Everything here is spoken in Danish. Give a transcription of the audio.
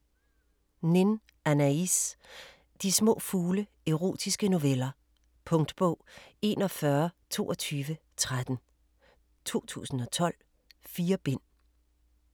Nin, Anaïs: De små fugle: erotiske noveller Punktbog 412213 2012. 4 bind.